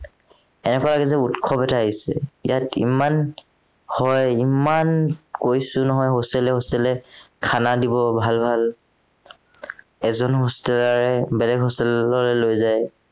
এনেকুৱা এদিন উৎসৱ এটা আহিছিল ইয়াত ইমান খোৱায় ইমান কৰিছিল নহয় hostel এ hostel এ খানা দিব ভাল ভাল, এজন hosteler ও বেলেগ hostel লৈ লৈ যায়